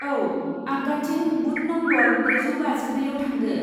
औ, आग्दाथिं booth number ब्रैजौ बाजिब्रैआव थांदो।